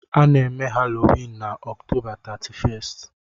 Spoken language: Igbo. A na-eme Halloween na October 31st.